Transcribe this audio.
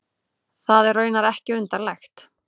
Það er raunar ekki undarlegt.